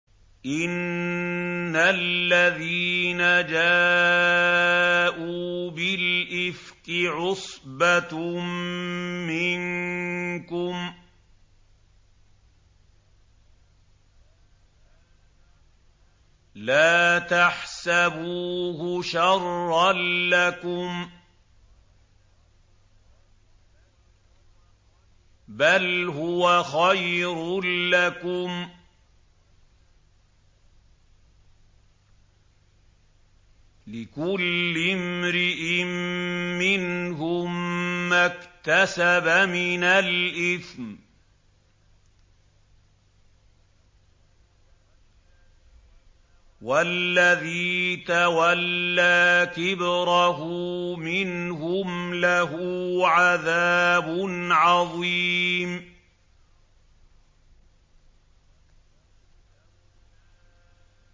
إِنَّ الَّذِينَ جَاءُوا بِالْإِفْكِ عُصْبَةٌ مِّنكُمْ ۚ لَا تَحْسَبُوهُ شَرًّا لَّكُم ۖ بَلْ هُوَ خَيْرٌ لَّكُمْ ۚ لِكُلِّ امْرِئٍ مِّنْهُم مَّا اكْتَسَبَ مِنَ الْإِثْمِ ۚ وَالَّذِي تَوَلَّىٰ كِبْرَهُ مِنْهُمْ لَهُ عَذَابٌ عَظِيمٌ